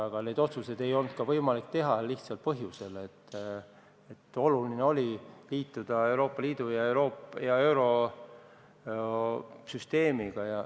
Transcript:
Aga neid otsuseid ei olnud võimalik teha lihtsal põhjusel: oluline oli liituda Euroopa Liidu ja eurosüsteemiga.